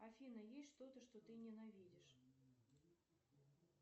афина есть что то что ты ненавидишь